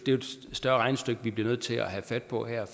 større regnestykke vi bliver nødt til at have fat på her